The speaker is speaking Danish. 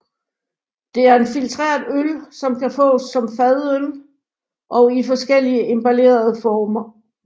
Det er en filtreret øl som kan fås som fadøl og i forskellige emballere former